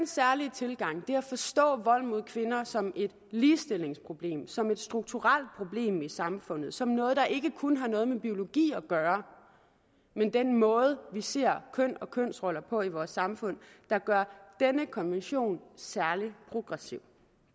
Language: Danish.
særlige tilgang og det at forstå vold mod kvinder som et ligestillingsproblem som en strukturelt problem i samfundet som noget der ikke kun har noget med biologi at gøre men den måde vi ser køn og kønsroller på i vores samfund der gør denne konvention særlig progressiv